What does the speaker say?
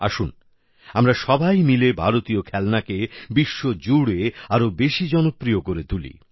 আসুন আমরা সবাই মিলে ভারতীয় খেলনাকে বিশ্বজুড়ে আরো বেশি জনপ্রিয় করে তুলি